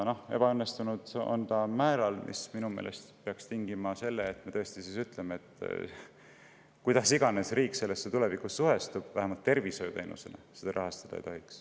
See ebaõnnestumine peaks minu meelest tingima selle, et me tõesti ütleme: kuidas iganes riik sellesse tulevikus suhtub, vähemalt tervishoiuteenusena me seda rahastada ei tohiks.